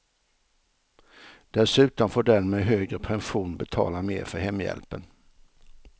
Dessutom får den med högre pension betala mer för hemhjälpen.